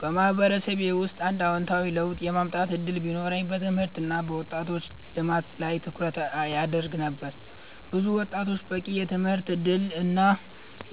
በማህበረሰቤ ውስጥ አንድ አዎንታዊ ለውጥ የማምጣት እድል ቢኖረኝ በትምህርት እና በወጣቶች ልማት ላይ ትኩረት አደርግ ነበር። ብዙ ወጣቶች በቂ የትምህርት እድል እና